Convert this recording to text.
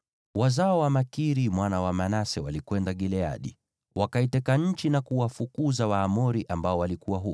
Wazao wa Makiri mwana wa Manase walikwenda Gileadi, wakaiteka nchi na kuwafukuza Waamori waliokuwa huko.